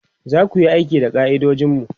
zaku Yi aiki da ka'idojinmu?